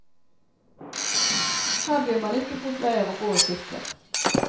Her blir man ikke fort lei av å gå og kikke.